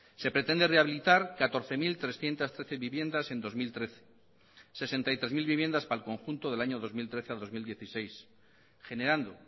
se pretende rehabilitar catorce mil trescientos trece viviendas en dos mil trece y sesenta y tres mil viviendas para el conjunto del año dos mil trece al dos mil dieciséis generando